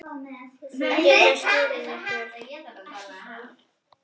Þau geta skilið ykkur.